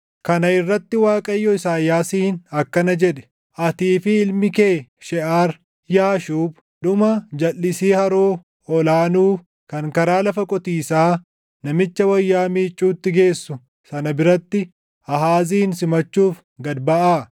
Kana irratti Waaqayyo Isaayyaasiin akkana jedhe; “Atii fi ilmi kee Sheʼar-Yaashuub dhuma jalʼisii Haroo Ol aanuu kan karaa Lafa qotiisaa namicha wayyaa miicuutti geessu sana biratti Aahaazin simachuuf gad baʼaa.